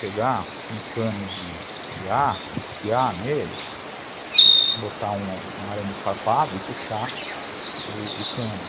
Pegar um cano de aço, enfiar nele, botar um arame farpado e puxar o cano.